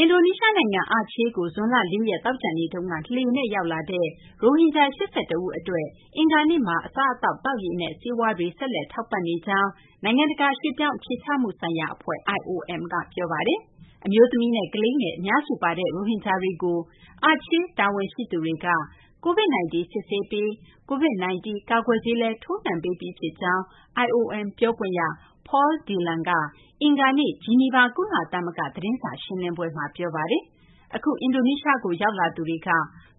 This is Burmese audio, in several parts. အင်ဒိုနီးရှားနိုင်ငံ အာချေးကို ဇွန်လ ၄ ရက် သောကြာနေ့က လှေနဲ့ ရောက်လာတဲ့ ရိုဟင်ဂျာ ၈၁ ဦး အတွက် အင်္ဂါနေ့မှာ အစားအသောက်၊ သောက်ရေနဲ့ ဆေးဝါးတွေ ဆက်လက် ထောက်ပံ့နေကြောင်း နိုင်ငံတကာ ရွှေ့ပြောင်း အခြေချမှုဆိုင်ရာ အဖွဲ့ IOM က ပြောပါတယ်။ အမျိုးသမီးနဲ့ ကလေးငယ် အများစုပါတဲ့ ရိုဟင်ဂျာတွေကို အာချေး တာဝန်ရှိသူတွေက COVID-19 စစ်ဆေးပြီး COVID-19 ကာကွယ်ဆေးလည်း ထိုးနှံပေးပြီးဖြစ်ကြောင်း IOM ပြောခွင့်ရ Paul Dillon က အင်္ဂါနေ့ ဂျီနီဗာ ကုလသမဂ္ဂ သတင်းစာရှင်းလင်းပွဲမှာ ပြောပါတယ်။ အခုအင်ဒိုနီးရှားကို ရောက်လာသူတွေက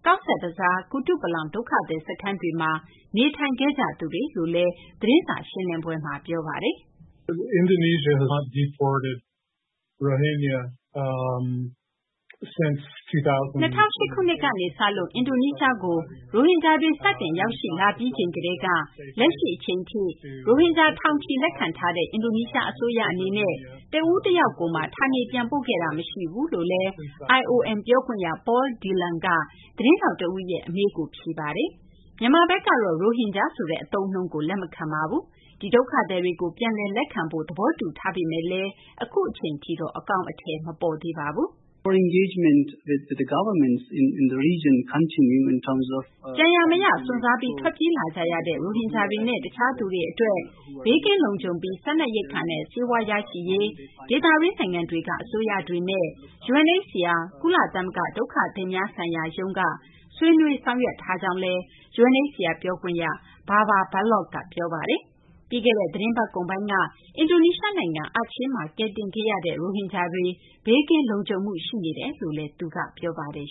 ကောဇ်ဘဇား၊ ကုတုပလောင် ဒုက္ခသည်စခန်းတွေမှာ နေထိုင်ခဲ့ကြသူတွေလို့လည်း သတင်းစာ ရှင်းလင်းပွဲမှာ ပြောပါတယ်။ "၂၀၀၈ ခုနှစ်ကနေ စလို့ အင်ဒိုနီးရှားကို ရိုဟင်ဂျာတွေ စတင်ရောက်ရှိလာပြီးချိန်ကတည်းက လက်ရှိ အချိန်ထိ ရိုဟင်ဂျာ ထောင်ချီ လက်ခံထားတဲ့ အင်ဒိုနီးရှား အစိုးရ အနေနဲ့ တဦးတယောက်ကိုမှ ဌာနေပြန်ပို့ခဲ့တာ မရှိဘူး" လို့လည်း IOM ပြောခွင့်ရ Paul Dillon က သတင်းထောက် တဦးရဲ့ အမေးကို ဖြေကြားခဲ့ပါတယ်။ မြန်မာဘက်ကတော့ ရိုဟင်ဂျာ ဆိုတဲ့ အသုံးအနှုန်းကို လက်မခံပါဘူး။ ဒီ ဒုက္ခသည်တွေကို ပြန်လည် လက်ခံဖို့တော့ သဘောတူပေမယ့်လည်း အခုအချိန်ထိတော့ အကောင်အထည် မပေါ်သေးပါဘူး။ "ကြံရာ မရ စွန့်စားပြီး ထွက်ပြေးလာကြရတဲ့ ရိုဟင်ဂျာတွေနဲ့ တခြားသူတွေ အတွက် ဘေးကင်းလုံခြုံပြီး စားနပ်ရိက္ခာနဲ့ ဆေးဝါး ရရှိရေး အတွက် ဒေသတွင်း နိုင်ငံတွေက အစိုးရတွေနဲ့ UNHCR ကုလသမဂ္ဂ ဒုက္ခသည်များဆိုင်ရာရုံးက ဆွေးနွေးဆောင်ရွက်ထားတယ်" လို့လည်း UNHCR ပြောခွင့်ရ Babar Baloh က ပြောပါတယ်။ ပြီးခဲ့တဲ့ သီတင်းပတ်ကုန်ပိုင်းက အင်ဒိုနီးရှား နိုင်ငံ အာချေးမှာ ကယ်တင်ထားတဲ့ ရိုဟင်ဂျာ တွေ ဘေးကင်းလုံခြုံမှု ရှိနေကြောင်းလည်း ပြောပါတယ်